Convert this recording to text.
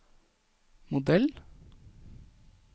modell